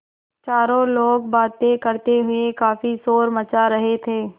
चारों लोग बातें करते हुए काफ़ी शोर मचा रहे थे